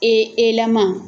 Ee E lama.